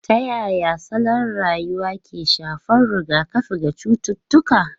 Ta yaya salon rayuwa ke shafar rigakafi ga cututtuka?